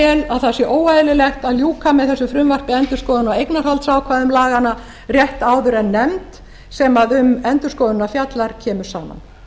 að það sé óeðlilegt að ljúka með þessu frumvarpi endurskoðun á eignarhaldsákvæði laganna rétt áður en nefnd sem um endurskoðunina fjallar kemur saman